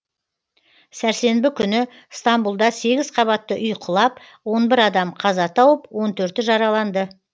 сәрсенбі күні стамбұлда сегіз қабатты үй құлап он бір адам қаза тауып он төрті жараланды